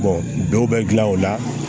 dɔw bɛ gilan o la